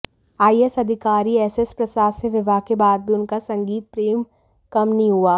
IAS अधिकारी SS Prasad से विवाह के बाद भी उनका संगीत प्रेम कम नहीं हुआ